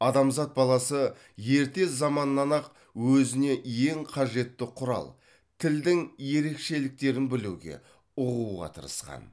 адамзат баласы ерте заманнан ақ өзіне ең қажетті құрал тілдің ерекшеліктерін білуге ұғуға тырысқан